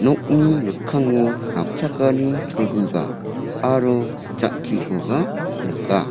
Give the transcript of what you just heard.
nokni mikkango napchakani cholguga aro jang·kikoba nika.